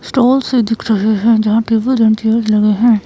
Stall से दिख रहे हैं जहां टेबल एंड चेयर लगे हैं।